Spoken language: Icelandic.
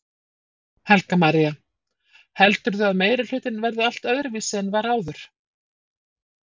Helga María: Heldurðu að meirihlutinn verði allt öðruvísi en var áður?